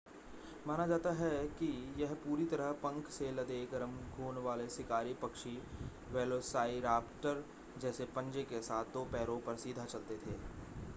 माना जाता है कि यह पूरी तरह पंख से लदे गरम खून वाले शिकारी पक्षी वेलोसाइराप्टर जैसे पंजे के साथ दो पैरों पर सीधा चलते थे